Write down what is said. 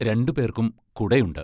രണ്ടുപേർക്കും കുടയുണ്ട്.